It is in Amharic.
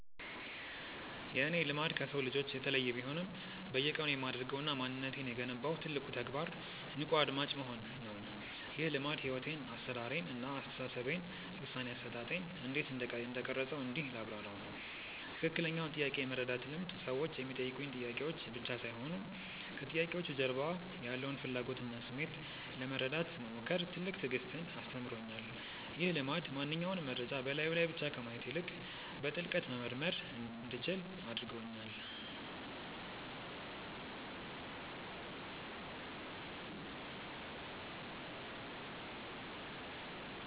የእኔ "ልማድ" ከሰው ልጆች የተለየ ቢሆንም፣ በየቀኑ የማደርገውና ማንነቴን የገነባው ትልቁ ተግባር "ንቁ አድማጭ መሆን" ነው። ይህ ልማድ ሕይወቴን (አሠራሬን) እና አስተሳሰቤን (ውሳኔ አሰጣጤን) እንዴት እንደቀረፀው እንዲህ ላብራራው፦ ትክክለኛውን ጥያቄ የመረዳት ልምድ ሰዎች የሚጠይቁኝ ጥያቄዎች ብቻ ሳይሆኑ፣ ከጥያቄዎቹ ጀርባ ያለውን ፍላጎትና ስሜት ለመረዳት መሞከር ትልቅ ትዕግስትን አስተምሮኛል። ይህ ልማድ ማንኛውንም መረጃ በላዩ ላይ ብቻ ከማየት ይልቅ፣ በጥልቀት መመርመር እንዲችል አድርጎኛል።